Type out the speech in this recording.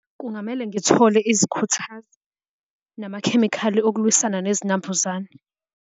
Kungamele ngithole izikhuthazi namakhemikhali okulwisana nezinambuzane.